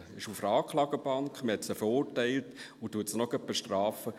Sie ist auf der Anklagebank, man hat sie verurteilt, und man bestraft sie auch gleich noch.